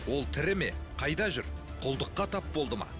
ол тірі ме қайда жүр құлдыққа тап болды ма